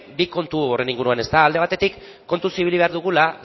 bi kontu horren inguruan alde batetik kontuz ibili behar dugula